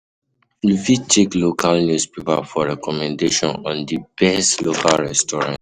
You fit check local newspapers for recommendations on di best local restaurant